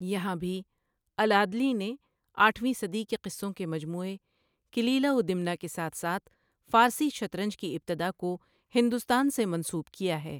یہاں بھی، العدلی نے آٹھویں صدی کے قصوں کے مجموعے کلیلہ و دمنہ کے ساتھ ساتھ فارسی شطرنج کی ابتداء کو ہندوستان سے منسوب کیا ہے۔